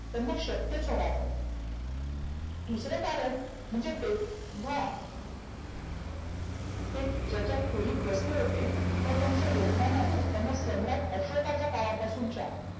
त्यांना शक्यचं होणार नव्हतं. दुसरं कारण म्हणजे तेव्हा ते ज्याच्या खोलीत बसले होते तर त्याच्या यजमानानं त्यांना सम्राट अशोकाच्या काळापासूनच्या